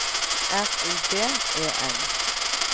R U B E N